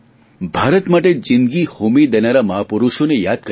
ભારત માટે જીંદગી હોમી દેનારા મહાપુરુષોને યાદ કરીએ